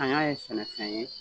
An y'a ye sɛnɛfɛn ye